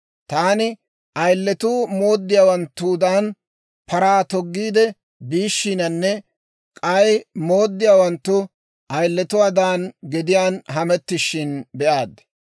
Taani, ayiletuu mooddiyaawanttudan paraa toggiide biishshiinanne k'ay mooddiyaawanttu ayiletuwaadan gediyaan hamettishin be'aad.